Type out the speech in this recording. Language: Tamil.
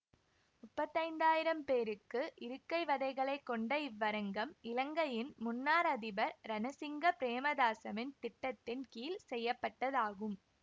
முப்பத்தைந்தாயிரம் பேருக்கு இருக்கை வதைகளைக் கொண்ட இவ்வரங்கம் இலங்கையின் முன்னாள் அதிபர் ரணசிங்க பிரேமதாசவின் திட்டத்தின் கீழ் செய்ய பட்டதாகும்